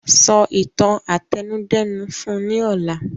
Sọ ìtàn àtẹnudẹ́nu fún ní ọ̀la!